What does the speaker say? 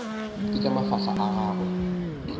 ke tša mafahla a gagwe